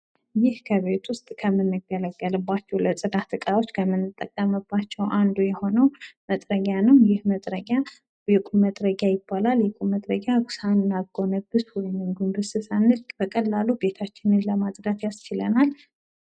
ይህ በቤት ውስጥ ከምንገለገልባቸው ለጽዳት እቃዎች ከምንጠቀምባቸው አንዱ የሆነው መጥረጊያ ነው። ይህ መጥረጊያ የቁም መጥረጊያ ይባላል። ይህ የቁም መጥረጊያ ቆመን ጎንበስ ሳንል በቀላሉ ቤታችን ለማጽዳት ያስችለናል;